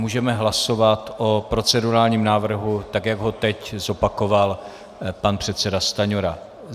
Můžeme hlasovat o procedurálním návrhu, tak jak ho teď zopakoval pan předseda Stanjura.